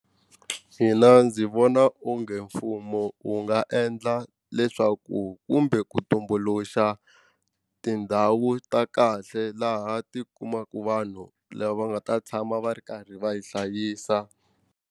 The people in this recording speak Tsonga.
Mina ndzi vona onge mfumo wu nga endla leswaku kumbe ku tumbuluxa tindhawu ta kahle laha ti kumaka vanhu lava nga ta tshama va ri karhi va yi hlayisa.